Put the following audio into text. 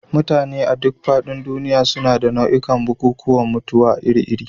Mutane a duk faɗin duniya suna da nau'ikan bukukuwan mutuwa iri-iri.